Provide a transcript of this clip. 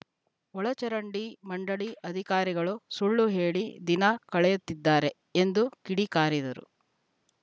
ಒಳಚರಂಡಿ ಮಂಡಳಿ ಅಧಿಕಾರಿಗಳು ಸುಳ್ಳು ಹೇಳಿ ದಿನ ಕಳೆಯುತ್ತಿದ್ದಾರೆ ಎಂದು ಕಿಡಿ ಕಾರಿದರು